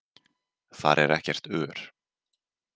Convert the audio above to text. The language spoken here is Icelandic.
Þar er ekkert ör.